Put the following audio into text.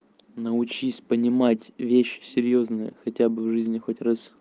научись понимать вещь серьёзная хотя бы в жизни хоть раз